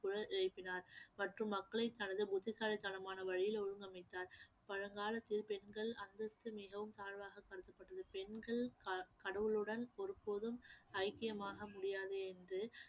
குரல் எழுப்பினார் மற்றும் மக்களை தனது புத்திசாலித்தனமான வழியில் ஒழுங்கமைத்தார் பழங்காலத்தில் பெண்கள் அந்தஸ்து மிகவும் தாழ்வாக கருதப்பட்டது பெண்கள் க~ கடவுளுடன் ஒரு போதும் ஐக்கியமாக முடியாது என்று